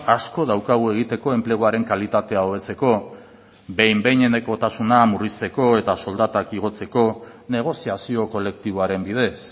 asko daukagu egiteko enpleguaren kalitatea hobetzeko behin behinekotasuna murrizteko eta soldatak igotzeko negoziazio kolektiboaren bidez